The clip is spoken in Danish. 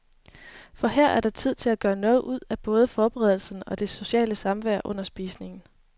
For her er der tid til at gøre noget ud af både forberedelserne og det sociale samvær under spisningen.